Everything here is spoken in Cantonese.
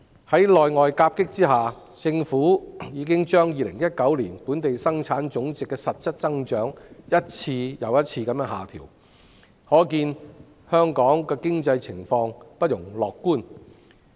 在內外夾擊下，政府已經將2019年本地生產總值的實質增長一再下調，可見本港經濟情況不容樂觀。